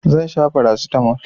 Zan sha farasitamol.